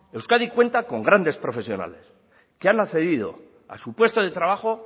euskadi cuenta con grandes profesionales que han accedido a su puesto de trabajo